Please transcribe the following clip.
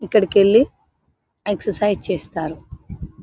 ఇక్కడికి వెళ్ళి ఎక్ససైజ్ చేస్తారు.